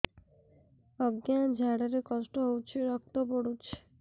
ଅଜ୍ଞା ଝାଡା ରେ କଷ୍ଟ ହଉଚି ରକ୍ତ ପଡୁଛି